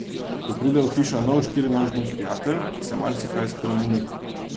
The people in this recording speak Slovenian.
Ko pride v hišo nov štirinožni prijatelj, se marsikaj spremeni.